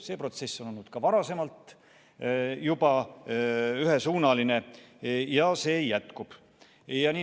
See protsess on ka varem ühesuunaline olnud ja see jätkub.